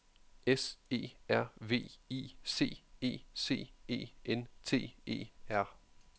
S E R V I C E C E N T E R